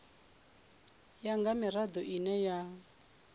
ya nga mirado ine ya